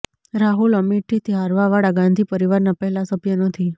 રાહુલ અમેઠીથી હારવાવાળા ગાંધી પરિવારના પહેલા સભ્ય નથી